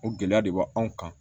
O gɛlɛya de b'aw kan